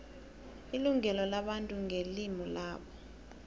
ilungelo labantu ngelimu labo